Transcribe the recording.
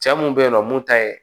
Cɛ mun be yen nɔ mun ta ye